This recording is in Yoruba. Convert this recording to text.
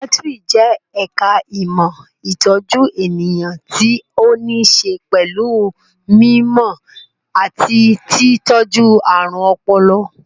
Saikíátíri jẹ́ ẹ̀ka ìmọ̀ ìtọ́jú ènìyàn tí ó ní ṣe pẹ̀lú mí mọ̀ àti tí tọ́jú ààrùn ọpọlọ